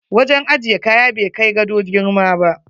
Wajen ajiye kaya bai kai gado girma ba.